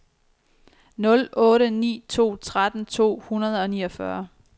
nul otte ni to tretten to hundrede og niogfyrre